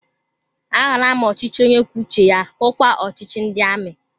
A hụla m ọchịchị onye kwuo uche ya, hukwa ọchịchị ndị amị